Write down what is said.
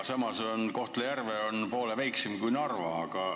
Samas on Kohtla-Järve poole väiksem kui Narva.